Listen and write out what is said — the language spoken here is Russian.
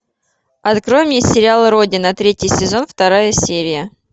открой мне сериал родина третий сезон вторая серия